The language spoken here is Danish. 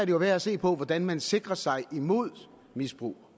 jo værd at se på hvordan man sikrer sig imod misbrug